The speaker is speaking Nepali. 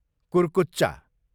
कुर्कुच्चा